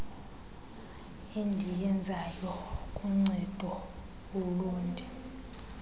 endiyenzayo kuncedo ulundi